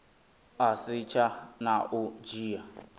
u setsha na u dzhia